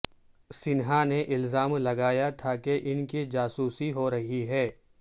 سنہا نے الزام لگایا تھا کہ ان کی جاسوسی ہو رہی ہے